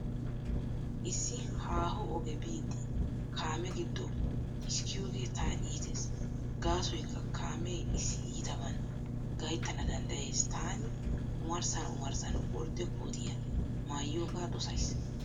Issi haaho oge biiddi kaame giddo xiskkiyoogee tana iitees, gaasoykka kaame issi iitaban gayttana danddayees. Taani omarssan omarssan ordde kootiyaa maayiyoogaa dosays.